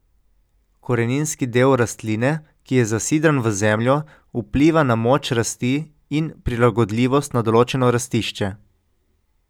Koreninski del rastline, ki je zasidran v zemljo, vpliva na moč rasti in prilagodljivost na določeno rastišče.